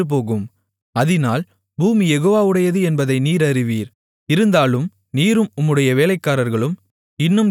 இருந்தாலும் நீரும் உம்முடைய வேலைக்காரர்களும் இன்னும் தேவனாகிய யெகோவாவுக்குப் பயப்படமாட்டீர்கள் என்பதை அறிவேன் என்றான்